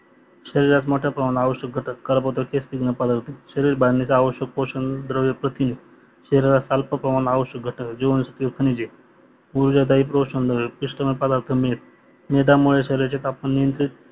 शरीरात मोट्या प्रमाणात आवश्यक घटक काऱ्बोंदके स्निग्ध प्रदार्थ शरीर बांधणीला आवश्यक पोषण द्रव प्रथिने शरीरात अल्प प्रमाणात आवश्यक घटक जिवानसत्व खनिजे ऊर्जादाईत्व पोषणद्रव पिष्टमय प्रदार्थ मेध मेधामुळे शरीराचे तापमान